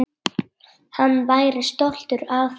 Hann væri stoltur af þessu.